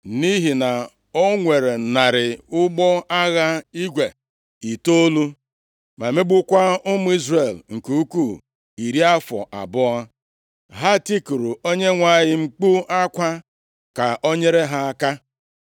Nʼihi na o nwere narị ụgbọ agha igwe itoolu, ma megbukwaa ụmụ Izrel nke ukwu iri afọ abụọ, ha tikuru Onyenwe anyị mkpu akwa, ka o nyere ha aka.